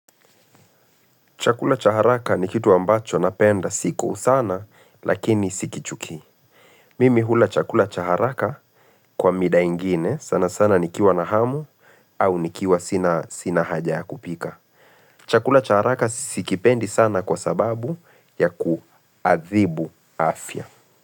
Chakula cha haraka ni kitu ambacho napenda siku sana lakini sikichukii. Mimi hula chakula cha haraka kwa mida ingine sana sana nikiwa na hamu au nikiwa sina haja ya kupika. Chakula cha haraka sikipendi sana kwa sababu ya kuadhibu afya.